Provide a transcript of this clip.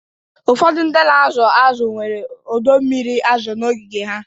Ụfọdụ ndị na-azụ azụ nwere ọdọ mmiri azụ n'ogige ha